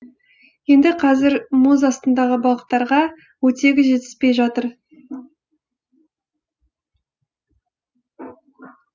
енді қазір мұз астындағы балықтарға оттегі жетіспей жатыр